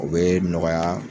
O bee nɔgɔya